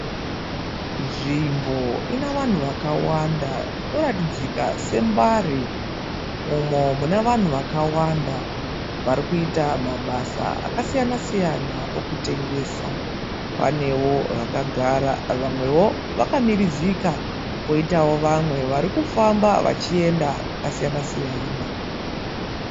Nzvimbo ine vanhu vakawanda inoratidzika seMbara umo mune vanhu vakawanda vari kuita mabasa akasiyana siyana okutengesa. Panewo vakagara poitawo vamwewo vari kumirizikavari poitawo vamwe vari kufamba vachienda kwakasiyana siyana.